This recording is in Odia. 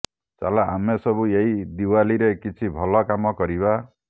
ଚାଲ ଆମେ ସବୁ ଏଇ ଦିୱାଲିରେ କିଛି ଭଲ କାମ କରିବା